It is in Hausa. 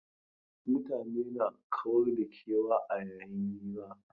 Mutane na kawar da kewa a yayin hira.